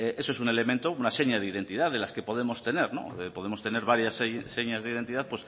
eso es un elemento una seña de identidad de las que podemos tener no podemos tener varias señas de identidad